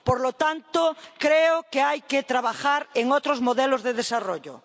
Por lo tanto, creo que hay que trabajar en otros modelos de desarrollo.